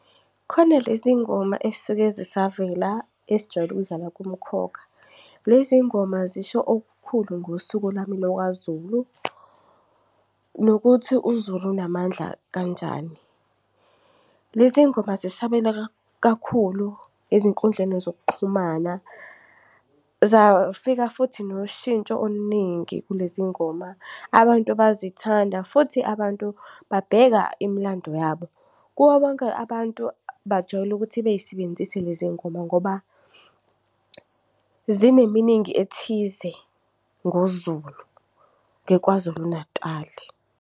Khona lezi ngoma ezisuke zisavela ezijwayele ukudlala kuMkhokha, lezi ngoma zisho okukhulu ngosiko lami lakwaZulu nokuthi uZulu unamandla kanjani. Lezi ngoma zisabela kakhulu ezinkundleni zokuxhumana, zafika futhi noshintsho oluningi kulezi ngoma abantu bazithanda. Futhi abantu babheka imilando yabo kubo bonke abantu bajwayele ukuthi bey'sebenzise lezi ngoma ngoba zine-meaning ethize ngoZulu, ngeKwaZulu Natal.